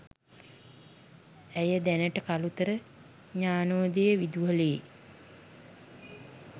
ඇය දැනට කළුතර ඥානෝදය විදුහලේ